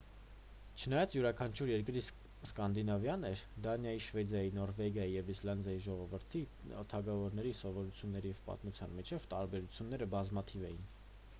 չնայած յուրաքանչյուր երկիր սկանդինավյան էր դանիայի շվեդիայի նորվեգիայի և իսլանդիայի ժողովրդի թագավորների սովորույթների և պատմության միջև տարբերությունները բազմաթիվ էին